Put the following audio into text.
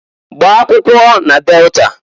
Gbaa akwụkwọ na Delta!